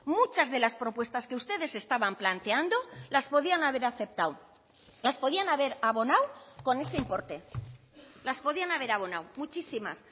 muchas de las propuestas que ustedes estaban planteando las podían haber aceptado las podían haber abonado con ese importe las podían haber abonado muchísimas